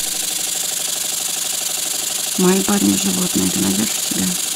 мои парни животные ты найдешь у себя